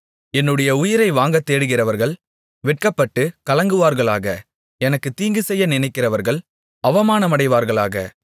என்னுடைய உயிரை வாங்கத்தேடுகிறவர்கள் வெட்கப்பட்டுக் கலங்குவார்களாக எனக்குத் தீங்குசெய்ய நினைக்கிறவர்கள் அவமானமடைவார்களாக